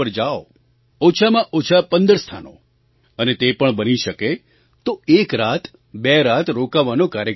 ઓછામાં ઓછાં 15 સ્થાનો અને તે પણ બની શકે તો એક રાત બે રાત રોકાવાનો કાર્યક્રમ બનાવો